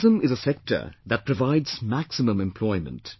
Tourism is a sector that provides maximum employment